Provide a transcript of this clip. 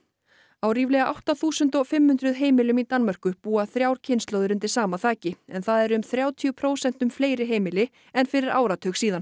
á ríflega átta þúsund fimm hundruð heimilum í Danmörku búa þrjár kynslóðir undir sama þaki en það eru þrjátíu prósentum fleiri heimili en fyrir áratug síðan